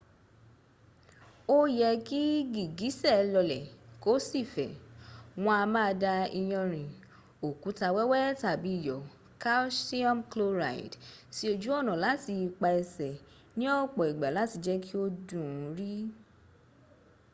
ó yẹ́ kí gìgísẹ̀ lọlẹ̀ kó sì fẹ̀. wọn a máa da iyanrìn òkúta wẹ́wẹ́ tàbí iyọ̀ calcium chloride sí ojú ọnà tàbí ipa ẹsẹ̀ ní ọ̀pọ̀ ìgbà láti jẹ́ kí ó dùn ún rì